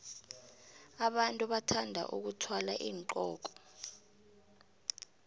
abantu bathanda vkuthwala iinqoko